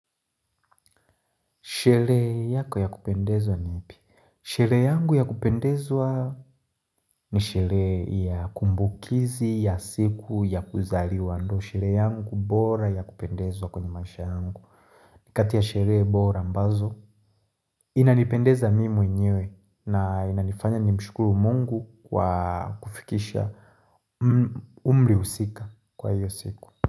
Sherehe yako ya kupendezwa ni ipi? Sherehe yangu ya kupendezwa ni sherehe ya kumbukizi ya siku ya kuzaliwa. Sherehe yangu bora yakupendezwa kwenye maisha yangu. Ni kati ya sherehe bora ambazo. Inanipendeza mimi mwenyewe na inanifanya nimshukuru mungu kwa kufikisha umri husika kwa hiyo siku.